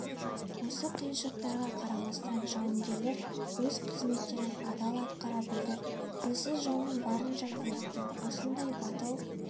осы қиыншылықтарға қарамастан жауынгерлер өз қызметтерін адал атқара білді тілсіз жаумен барынша күресті осындай батыл